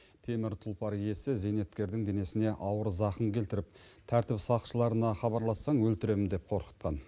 темір тұлпар иесі зейнеткердің денесіне ауыр зақым келтіріп тәртіп сақшыларына хабарлассаң өлтіремін деп қорқытқан